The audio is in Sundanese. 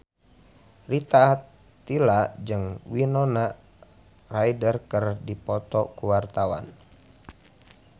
Rita Tila jeung Winona Ryder keur dipoto ku wartawan